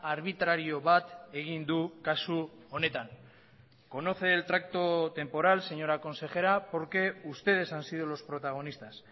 arbitrario bat egin du kasu honetan conoce el tracto temporal señora consejera porque ustedes han sido los protagonistas